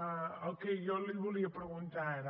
el que jo li volia preguntar ara